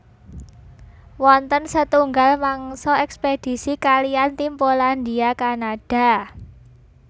Wonten setunggal mangsa ekspedisi kaliyan tim Polandia Kanada